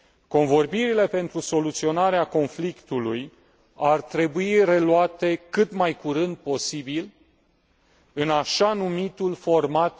Convorbirile pentru soluționarea conflictului ar trebui reluate cât mai curând posibil în așa numitul format